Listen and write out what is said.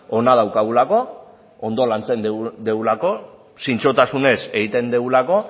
ona daukagulako ondo lantzen dugulako zintzotasunez egiten dugulako